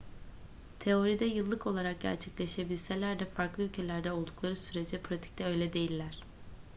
teoride yıllık olarak gerçekleşebilseler de farklı ülkelerde oldukları sürece pratikte öyle değiller